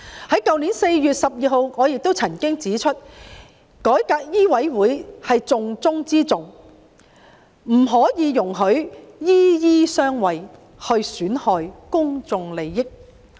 去年4月12日，我也曾經指出，改革醫委會是重中之重，不可以容許"醫醫相衞"，損害公眾利益。